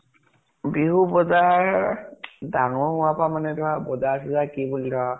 বিহু বজাৰ ডাঙৰ হোৱাৰ পৰাই মানে ধৰা বজাৰ চজাৰ কি বুলি ধৰা।